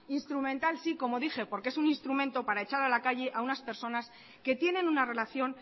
instrumental si como dije porque es un instrumento para echar a la calle a unas personas que tienen una relación